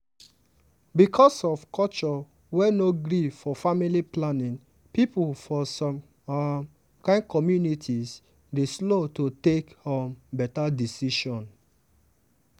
because of culture wey no gree for family planning people for some um kain communities dey slow to take um beta decision.